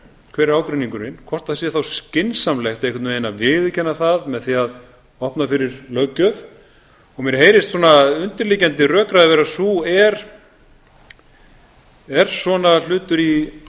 hver er ágreiningurinn hvort það sé þá skynsamlegt að viðurkenna það með því að opna fyrir löggjöf og mér heyrist undirliggjandi rökræður er svona hlutur í